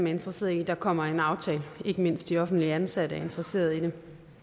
interesserede i at der kommer en aftale ikke mindst de offentligt ansatte er interesserede i det